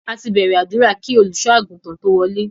A ti bẹ̀rẹ̀ àdúrà kí Olùṣọ́-àgùntàn tó wọlé.